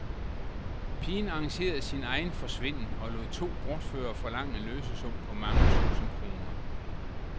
Pigen arrangerede sin egen forsvinden og lod to bortførere forlange en løsesum på mange tusind kroner.